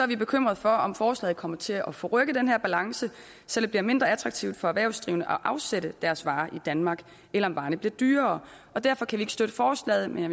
vi bekymrede for om forslaget kommer til at forrykke den her balance så det bliver mindre attraktivt for erhvervsdrivende at afsætte deres varer i danmark eller om varerne bliver dyrere og derfor kan vi ikke støtte forslaget men